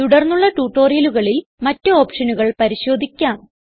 തുടർന്നുള്ള ട്യൂട്ടോറിയലുകളിൽ മറ്റ് ഓപ്ഷനുകൾ പരിശോധിക്കാം